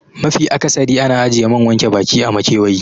Mafi akasari ana ajiye man wanke baki a makewayi